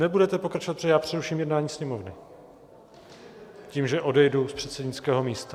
Nebudete pokračovat, protože já přeruším jednání Sněmovny tím, že odejdu z předsednického místa.